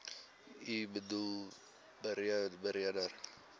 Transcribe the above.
u boedel beredder